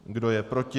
Kdo je proti?